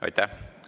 Aitäh!